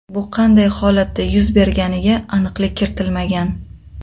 Bu qanday holatda yuz berganiga aniqlik kiritilmagan.